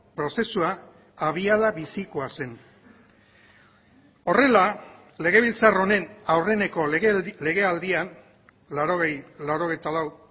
prozesua abiada bizikoa zen horrela legebiltzar honen aurreneko legealdian laurogei laurogeita lau